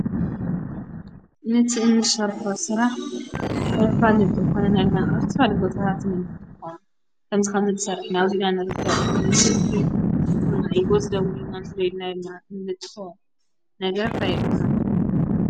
ነቲ እንሰርሕ ሥራሕ ነፍራልጡ ኾነናልና ኣርቲራልቦታሃት ነምጡኳ ከምዝኻንዘድሠር ናውዚና ንርተ ንስልኪ ጐሥደውሉናንዘዶድናይልና እንነጥ ነገር ታይ ይብሃል?